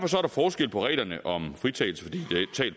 forskel på reglerne om fritagelse